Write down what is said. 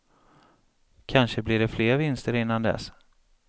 Kanske blir det fler vinster innan dess.